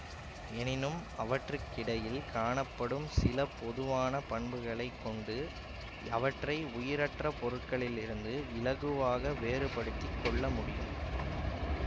எனினும் அவற்றுக்கிடையில் காணப்படும் சில பொதுவான பண்புகளை கொண்டு அவற்றை உயிரற்ற பொருட்களிலிருந்து இலகுவாக வேறுபடுத்தி கொள்ள முடியும்